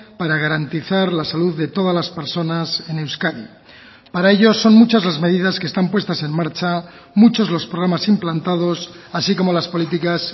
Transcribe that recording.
para garantizar la salud de todas las personas en euskadi para ello son muchas las medidas que están puestas en marcha muchos los programas implantados así como las políticas